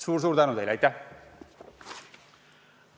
Suur-suur tänu teile!